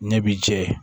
Ɲɛ b'i jɛ